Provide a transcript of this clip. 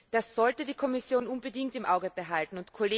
Das sollte die Kommission unbedingt im Auge behalten.